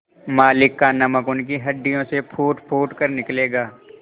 मालिक का नमक उनकी हड्डियों से फूटफूट कर निकलेगा